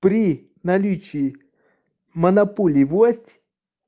при наличии монополий власть